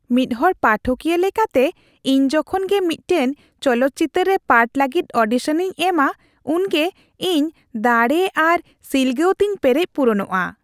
ᱢᱤᱫᱦᱚᱲ ᱯᱟᱴᱷᱚᱠᱤᱭᱟᱹ ᱞᱮᱠᱟᱛᱮ, ᱤᱧ ᱡᱚᱠᱷᱚᱱ ᱜᱮ ᱢᱤᱫᱴᱟᱝ ᱪᱚᱞᱚᱛ ᱪᱤᱛᱟᱹᱨ ᱨᱮ ᱯᱟᱴᱷ ᱞᱟᱹᱜᱤᱫ ᱚᱰᱤᱥᱚᱱ ᱤᱧ ᱮᱢᱟ ᱩᱱᱜᱮ ᱤᱧ ᱫᱟᱲᱮ ᱟᱨ ᱥᱤᱞᱜᱟᱹᱣ ᱛᱤᱧ ᱯᱮᱨᱮᱡ ᱯᱩᱨᱚᱱᱚᱜᱼᱟ ᱾